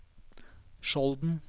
Skjolden